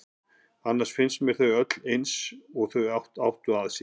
Annars finnst mér þau öll eins og þau áttu að sér.